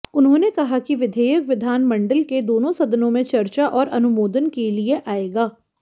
उन्होंने कहा कि विधेयक विधानमंडल के दोनों सदनों में चर्चा और अनुमोदन के लिए आएगा